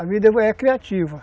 A vida é criativa.